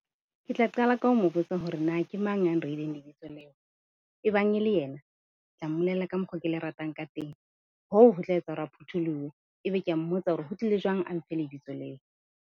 Ke tla qala ka ho mo botsa hore na ke mang ya nreileng lebitso leo? Ebang e le yena, ke tla mmolella ka mokgo ke le ratang ka teng, hoo ho tla etsa hore a phutholohe. E be ke a mmotsa hore ho tlile jwang a nfe lebitso leo?